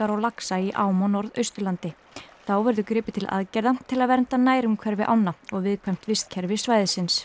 á laxa í ám á Norðausturlandi þá verður gripið til aðgerða til að vernda nærumhverfi ánna og viðkvæmt vistkerfi svæðisins